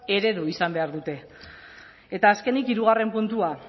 eredu izan behar dute eta azkenik hirugarren puntua